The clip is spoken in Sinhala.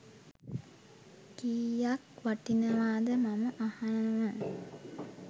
කීයක් වටිනවද මම අහනව.